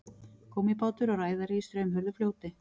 gúmmíbátur og ræðari í straumhörðu fljóti